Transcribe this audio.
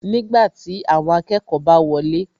Nígbàtí, awọn akẹ́kọ̀ọ́ bá wọlé